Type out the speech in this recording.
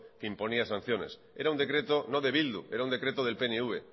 que imponía sanciones era un decreto no de bildu era un decreto del pnv